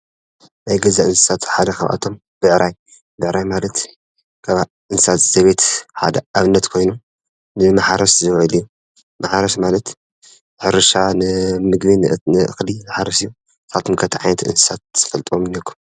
ናይ ገዛ እንስሳት ሓደ ካብኣቶም ብዕራይ ብዕራይ ማለት ካብ እንስሳት ዘቤት ሓደ አብነት ኮይኑ ንማሕረስ ዝውዕል እዩ። ማሕረስ ማለት ሕርሻ ንምግቢ ንእክሊ ዝሓርስ እዩ ። ንስካትኩም ከ እንታይ ዓይነት እንስሳ ትፈልጥዎም አለኩም?